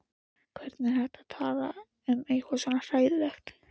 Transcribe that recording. Hvernig var hægt að tala um eitthvað svo hræðilegt.